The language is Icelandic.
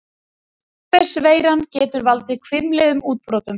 Herpes-veiran getur valdið hvimleiðum útbrotum.